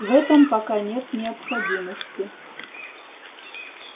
в этом пока нет необходимости